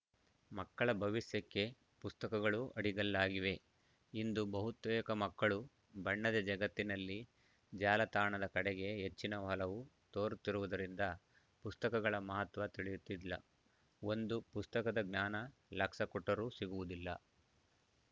ಮಕ್ಕಳ ಭವಿಷ್ಯಕ್ಕೆ ಪುಸ್ತಕಗಳು ಅಡಿಗಲ್ಲಾಗಿವೆ ಇಂದು ಬಹುತೇಕ ಮಕ್ಕಳು ಬಣ್ಣದ ಜಗತ್ತಿನಲ್ಲಿ ಜಾಲತಾಣದ ಕಡೆಗೆ ಹೆಚ್ಚಿನ ಒಲವು ತೋರುತ್ತಿರುವುದರಿಂದ ಪುಸ್ತಕಗಳ ಮಹತ್ವ ತಿಳಿಯುತ್ತಿಲ್ಲ ಒಂದು ಪುಸ್ತಕದ ಜ್ಞಾನ ಲಕ್ಷ ಕೊಟ್ಟರು ಸಿಗುವುದಿಲ್ಲ